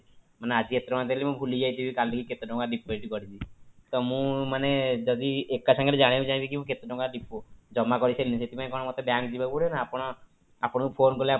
ମାନେ ଆଜି ଏତେ ଟଙ୍କା ଦେଲି ମୁଁ ଭୁଲି ଯାଇଥିବି କାଲି କି ମୁଁ କେତେ ଟଙ୍କା deposit କରିଛି ତ ମୁଁ ମାନେ ଯଦି ଏକା ସାଙ୍ଗରେ ଜାଣିବାକୁ ଚାହିଁବି କି ମୁଁ କେତେ ଟଙ୍କା ଜମା କରିଥିଲି ସେଥିପାଇଁ କଣ ମତେ bank ଯିବା କୁ ପଡିବ ନା ଆପଣ ଆପଣଙ୍କୁ phone କଲେ ଆପଣ